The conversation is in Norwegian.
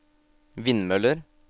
vindmøller